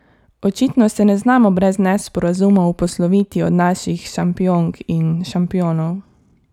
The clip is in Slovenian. Očitno se ne znamo brez nesporazumov posloviti od naših šampionk in šampionov.